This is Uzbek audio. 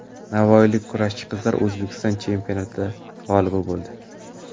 Navoiylik kurashchi qizlar O‘zbekiston chempionati g‘olibi bo‘ldi.